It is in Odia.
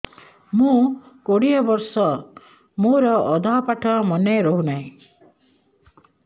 ମୋ କୋଡ଼ିଏ ବର୍ଷ ମୋର ଅଧା ପାଠ ମନେ ରହୁନାହିଁ